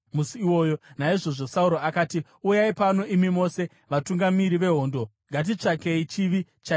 Naizvozvo Sauro akati, “Uyai pano, imi mose vatungamiri vehondo, Ngatitsvakei chivi chaitwa nhasi.